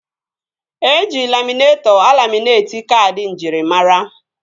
Eji laminetọ alaminetị kaadị njirimara